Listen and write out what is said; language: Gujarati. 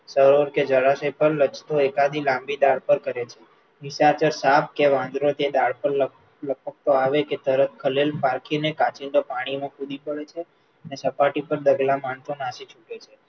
સરળ કે જળાશય પર લચતો એકાદી લાંબી ડાળ પર કરે છે, નિશાચર સાપ કે વાંદરો, જે ડાળ પર લપકતો આવે કે તરત ખલેલ પાંચીને કાંચિડો પાણીમાં કૂદી પડે છે, સપાટી પર ડગલાં માંડતો નાસી છૂટે છે,